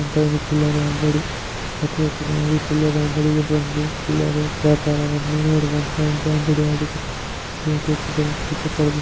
ಇದು ಒಂದು ಚಿಲ್ಲರೆಯೇ ಅಂಗಡಿ ಈ ಚಿಲ್ಲರೆ ಅಂಗಡಿಗೆ ಬಂದು ಚಿಲ್ಲರೆ ವ್ಯಾಪಾರವನ್ನು ಮಾಡುವಂತಹ ಒಂದು ಚಿಲ್ಲರೆ ಅಂಗಡಿಯಾಡಿದೆ.